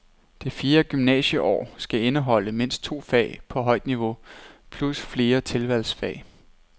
Det fjerde gymnasieår skal indeholde mindst to fag på højt niveau plus flere tilvalgsfag.